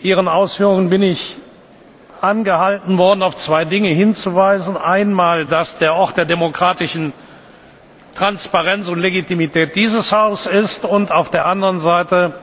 Bei Ihren Ausführungen bin ich angehalten worden, auf zwei Dinge hinzuweisen Einmal, dass der Ort der demokratischen Transparenz und Legitimität dieses Haus ist, und auf der anderen Seite,